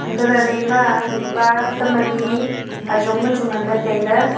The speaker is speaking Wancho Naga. antoh lahle ema mihpa tam alI ajong le chu nganle taile.